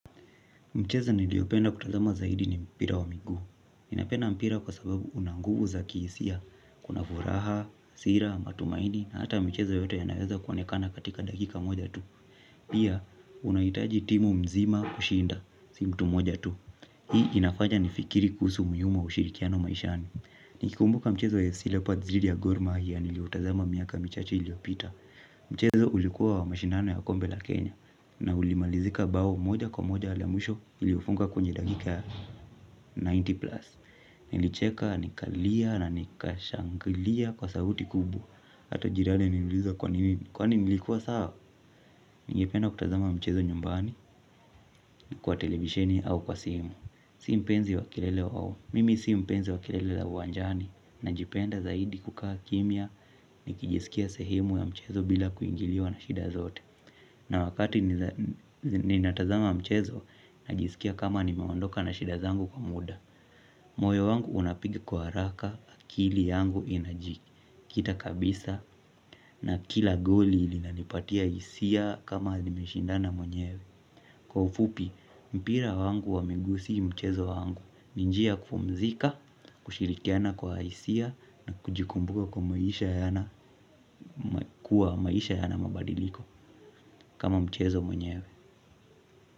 Mchezo niliopenda kutazama zaidi ni mpira wa migu. Ninapenda mpira kwa sababu una nguvu za kihisia, kuna furaha, sira, matumaini, na hata michezo yote yanaweza kuonekana katika dakika moja tu. Pia, unahitaji timu mzima kushinda, si mtu moja tu. Hii inafanya nifikiri kuhusu umuhimu wa ushirikiano maishani. Nikikumbuka mchezo wa FCLeopards dhidi ya Gor Mahia niliotazama miaka michache iliyopita. Mchezo ulikuwa wa mashindano ya kombe la Kenya. Na ulimalizika bao moja kwa moja la mwisho lilifungwa kwenye dakika ya ninety plus. Nilicheka nikalia na nikashangilia kwa sauti kubwa. Hata jirani aliniuliza kwani nilikuwa sawa. Ningependa kutazama mchezo nyumbani kwa televisheni au kwa simu. Mimi si mpenzi wa kelele za uwanjani. Najipenda zaidi kukaa kimya nikijisikia sehemu ya mchezo bila kuingiliwa na shida zozote. Na wakati ninatazama mchezo, ninajisikia kama nimeondoka na shida zangu kwa muda. Moyo wangu unapiga kwa haraka akili yangu inaji kita kabisa na kila goli linanipatia hisia kama nimeshindana mwenyewe. Kwa ufupi, mpira wangu wa miguu si mchezo wangu. Ni njia ya kupumzika, kushirikiana kwa hisia. Na kujikumbusha kuwa maisha yana mabadiliko. Kama mchezo mwenyewe.